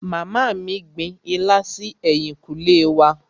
Màmá mí gbin ilá si ẹ̀yìnkùlé wa.